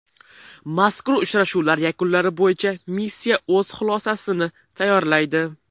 Mazkur uchrashuvlar yakunlari bo‘yicha missiya o‘z xulosacsini tayyorlaydi.